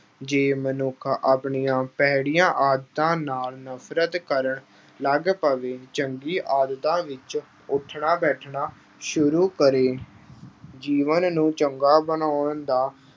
ਜੇ ਮਨੁੱਖ ਆਪਣੀਆਂ ਭੈੜੀਆਂ ਆਦਤਾਂ ਨਾਲ ਨਫ਼ਰਤ ਕਰਨ ਲੱਗ ਪਵੇ, ਚੰਗੀ ਆਦਤਾਂ ਵਿੱਚ ਉੱਠਣਾ ਬੈਠਣਾ ਸ਼ੁਰੂ ਕਰੇ। ਜੀਵਨ ਨੂੰ ਚੰਗਾ ਬਣਾਉਣ ਦਾ